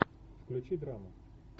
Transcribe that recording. включи драму